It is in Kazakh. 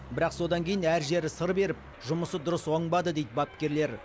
бірақ содан кейін әр жері сыр беріп жұмысы дұрыс оңбады дейді бапкерлер